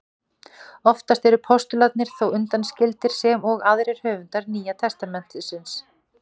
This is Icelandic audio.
Oftast eru postularnir þó undanskildir sem og aðrir höfundar Nýja testamentisins.